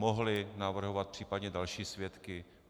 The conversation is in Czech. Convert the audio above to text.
Mohli navrhovat případně další svědky.